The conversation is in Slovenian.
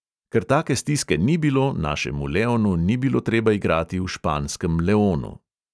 Ker take stiske ni bilo, našemu leonu ni bilo treba igrati v španskem leonu.